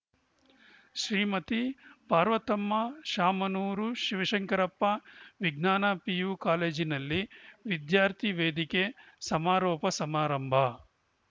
ಶ್ರೀಮತಿ ಪಾರ್ವತಮ್ಮ ಶಾಮನೂರು ಶಿವಶಂಕರಪ್ಪ ವಿಜ್ಞಾನ ಪಿಯು ಕಾಲೇಜಿನಲ್ಲಿ ವಿದ್ಯಾರ್ಥಿ ವೇದಿಕೆ ಸಮಾರೋಪ ಸಮಾರಂಭ